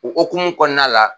O okumu kɔnɔna la